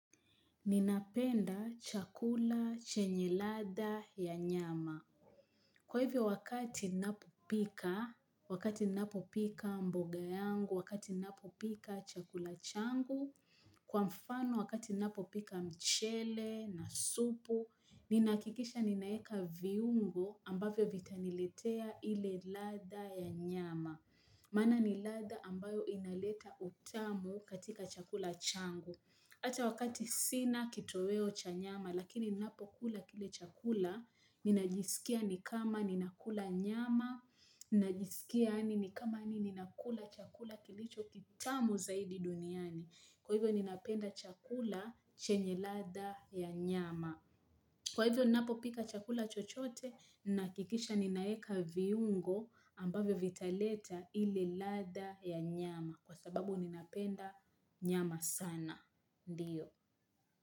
Ninapenda chakula chenye ladha ya nyama. Kwa hivyo wakati ninapopika, wakati ninapopika mboga yangu, wakati ninapopika chakula changu kwa mfano wakati ninapopika mchele na supu, ninahakikisha ninaeka viungo ambavyo vitaniletea ile ladha ya nyama. Maana ni ladha ambayo inaleta utamu katika chakula changu. Hata wakati sina kitoweo cha nyama, lakini ninapo kula kile chakula, ninajisikia ni kama ninakula nyama, ninajisikia yaani ni kama nini ninakula chakula kilicho kitamu zaidi duniani. Kwa hivyo ninapenda chakula chenye ladha ya nyama. Kwa hivyo ninapopika chakula chochote, nahakikisha ninaeka viungo ambavyo vitaleta ili ladha ya nyama kwa sababu ninapenda nyama sana. Ndio.